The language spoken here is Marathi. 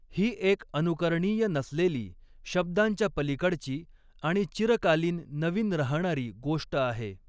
ही एक अनुकरणीय नसलेली, शब्दांच्या पलिकडची आणि चिरकालीन नवीन राहणारी गोष्ट आहे.